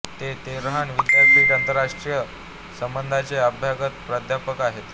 ते तेहरान विद्यापीठात आंतरराष्ट्रीय संबंधांचे अभ्यागत प्राध्यापक आहेत